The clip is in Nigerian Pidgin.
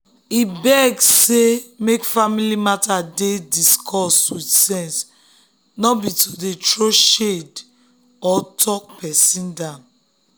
e beg say make family matter dey discussed with sense no be to dey throw shade or talk person down.